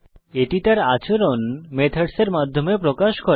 এটি তার আচরণ মেথডস এর মাধ্যমে প্রকাশ করে